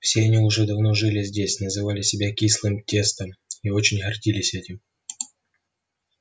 все они уже давно жили здесь называли себя кислым тестом и очень гордились этим